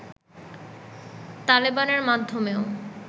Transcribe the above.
তালেবানের মাধ্যমেও